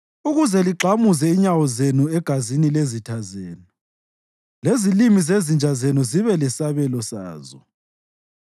ukuze ligxamuze inyawo zenu egazini lezitha zenu, lezilimi zezinja zenu zibe lesabelo sazo.”